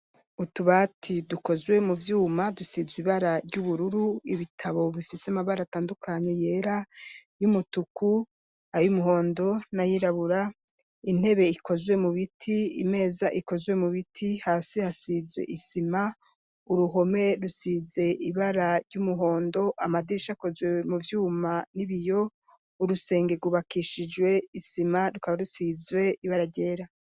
Utubati dukozwe mu vyuma dusizwe ibara ry'ubururu ibitabo bifise amabara atandukanye yera , y'umutuku, ayumuhondo, n'ayirabura, intebe ikozwe mu biti imeza ikozwe mu biti hasi hasizwe isima uruhome rusize ibara ry'umuhondo amadirisha akozwe mu vyuma n'ibiyo, urusenge gubakishijwe isima rukaba rusizwe ibara ryera.